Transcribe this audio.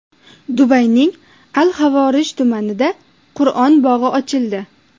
Dubayning Al - Xavorij tumanida Qur’on bog‘i ochildi.